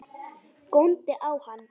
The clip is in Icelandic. Góndi á hann.